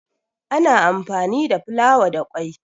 ana anfami da fulawa da kwai